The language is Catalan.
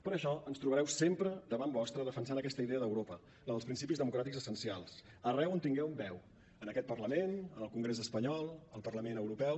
per això ens trobareu sempre davant vostre defensant aquesta idea d’europa la dels principis democràtics essencials arreu on tinguem veu en aquest parlament en el congrés espanyol al parlament europeu